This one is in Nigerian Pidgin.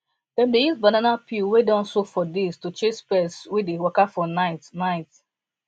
dem dey use banana peel wey don soak for days to chase pest wey dey waka for night night